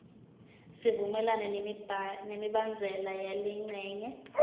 sivumelana nemibandzela yalencenye